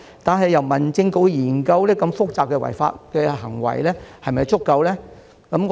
但是，由民政事務局研究如此複雜的違法行為是否足夠呢？